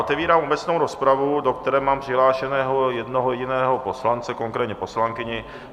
Otevírám obecnou rozpravu, do které mám přihlášeného jednoho jediného poslance, konkrétně poslankyni.